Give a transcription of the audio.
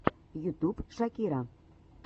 ютюб шакира